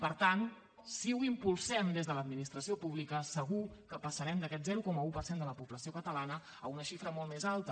per tant si ho impulsem des de l’administració pública segur que passarem d’aquest zero coma un per cent de la població catalana a una xifra molt més alta